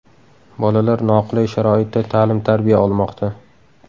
Bolalar noqulay sharoitda ta’lim-tarbiya olmoqda.